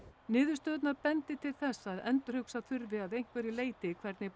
niðurstöðurnar bendi til þess að endurhugsa þurfi að einhverju leyti hvernig